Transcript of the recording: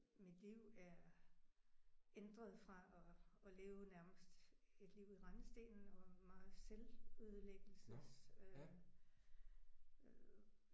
Mit liv er ændret fra og og leve nærmest et liv i rendestenen og meget selvødelæggelses øh